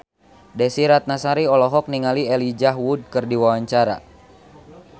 Desy Ratnasari olohok ningali Elijah Wood keur diwawancara